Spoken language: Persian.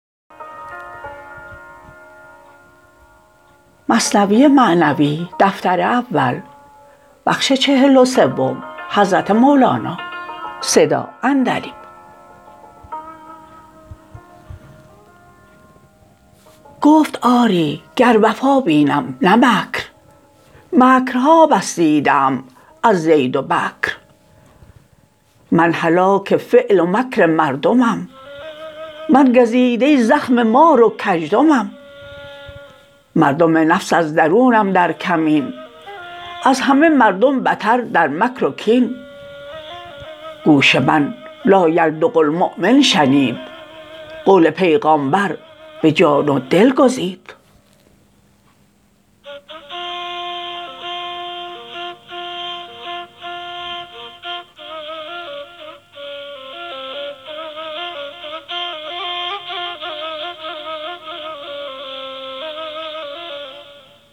گفت آری گر وفا بینم نه مکر مکر ها بس دیده ام از زید و بکر من هلاک فعل و مکر مردمم من گزیده زخم مار و کژدمم مردم نفس از درونم در کمین از همه مردم بتر در مکر و کین گوش من لایلدغ المؤمن شنید قول پیغامبر به جان و دل گزید